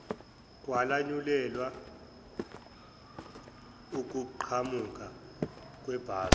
kwalanyulelwa ukuqhamuka kwebhasi